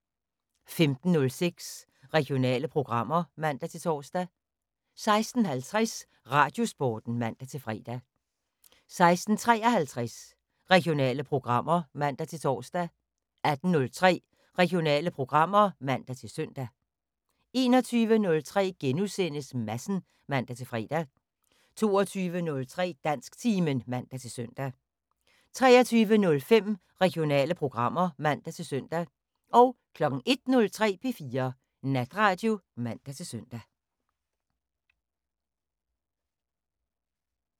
15:06: Regionale programmer (man-tor) 16:50: Radiosporten (man-fre) 16:53: Regionale programmer (man-tor) 18:03: Regionale programmer (man-søn) 21:03: Madsen *(man-fre) 22:03: Dansktimen (man-søn) 23:05: Regionale programmer (man-søn) 01:03: P4 Natradio (man-søn)